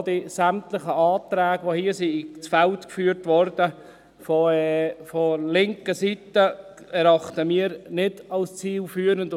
Aber auch sämtliche Anträge, die hier von der linken Seite ins Feld geführt wurden, erachten wir nicht als zielführend.